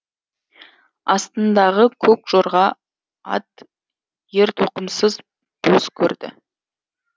астыңдағы көк жорға ат ер тоқымсыз бос көрді